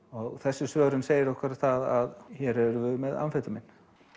og þessi svörun segir okkur það að hér erum við með amfetamín